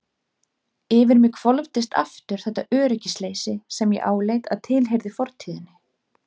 Yfir mig hvolfdist aftur þetta öryggisleysi sem ég áleit að tilheyrði fortíðinni.